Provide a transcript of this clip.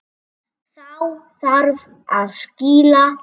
Þá þarf að skýla.